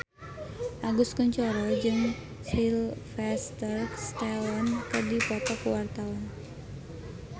Agus Kuncoro jeung Sylvester Stallone keur dipoto ku wartawan